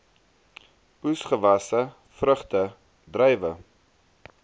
oesgewasse vrugte druiwe